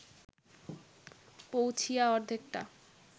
পৌঁছিয়া অর্ধেকটা